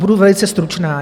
Budu velice stručná.